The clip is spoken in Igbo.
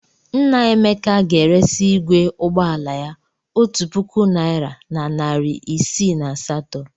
Nna Emeka ga-eresị igwe ụgbọ ala ya otu puku naịra na narị isii na asatọ.